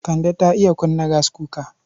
Kande ta iya kunna gaskuka.